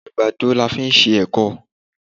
Àgbàdo la fi ṣe ẹ̀kọ.